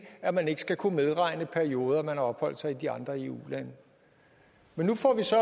at man ikke skal kunne medregne perioder man har opholdt sig i de andre eu lande men nu får vi så